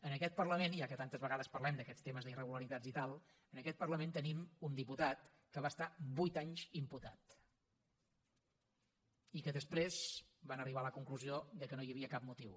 en aquest parlament ja que tantes vegades parlem d’aquests temes d’irregularitats i tal tenim un diputat que va estar vuit anys imputat i que després van arribar a la conclusió que no hi havia cap motiu